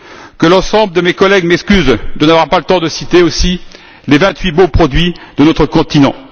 Que l'ensemble de mes collègues m'excusent de n'avoir pas le temps de citer aussi les vingt huit bons produits de notre continent.